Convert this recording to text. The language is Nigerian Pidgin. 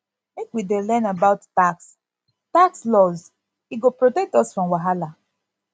make we dey learn about tax tax laws e go protect us from wahala